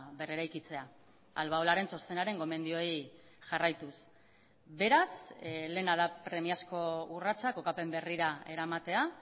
berreraikitzea albaolaren txostenaren gomendioei jarraituz beraz lehena da premiazko urratsa kokapen berrira eramatea